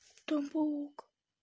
там паук